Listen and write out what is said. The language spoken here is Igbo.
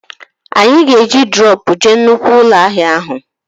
Anyị ga-eji droopụ jee nnụkwụ ụlọ ahịa